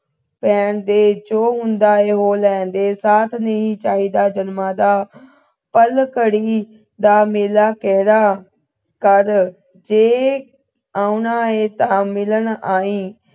ਭੈਣ ਦੇ ਜੋ ਹੁੰਦਾ ਹੈ ਹੋ ਲੈਣ ਦੇ ਇਹ ਸਾਥ ਨਹੀਂ ਚਾਹੀਦਾ ਜਨਮਾਂ ਦਾ ਪਲ ਖੜੀ ਦਾ ਮੇਲਾ ਕਿਹੜਾ ਕਰਜੇ ਪਾਉਣਾ ਹੈ ਤੇ ਮਿਲਣ ਆਈ